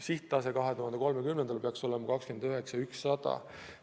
Sihttase 2030. aastal peaks olema 29 100 eurot.